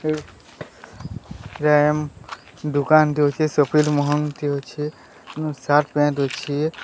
ପ୍ରେ ପ୍ରେମ୍ ଦୋକାନ୍ ଟେ ଅଛି ସପିଂ ମହଲ୍ ଟିଏ ଅଛି ଏବଂ ସାର୍ଟ୍ ପ୍ୟାଣ୍ଟ୍ ଅଛି।